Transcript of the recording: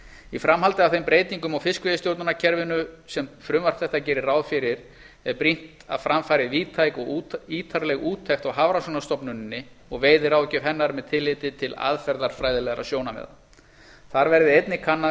í framhaldi af þeim breytingum á fiskveiðistjórnarkerfinu sem frumvarp þetta gerir ráð fyrir er brýnt að fram fari víðtæk og ítarleg úttekt á hafrannsóknastofnuninni og veiðiráðgjöf hennar með tilliti til aðferðafræðilegra sjónarmiða þar verði einnig kannað